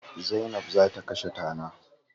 Zainab za ta kashe tana.